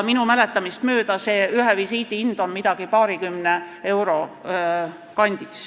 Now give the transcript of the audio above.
Minu mäletamist mööda on ühe visiidi hind paarikümne euro kandis.